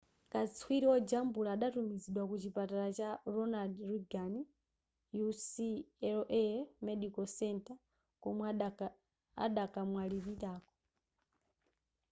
katswiri wojambula adatumizidwa ku chipatala cha ronald reagan ucla medical center komwe adakamwalirako